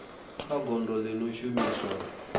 kha gondo ḽi no shumiswa